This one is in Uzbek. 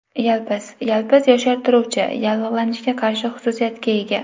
Yalpiz Yalpiz yoshartiruvchi, yallig‘lanishga qarshi xususiyatga ega.